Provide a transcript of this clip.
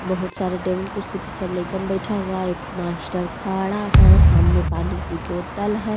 बहुत सारे टेबुल कुर्सी पर सब लइकन बैठा हुआ है एक मास्टर खड़ा है सामने पानी की बोटल है।